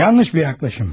Yanlış bir yanaşma!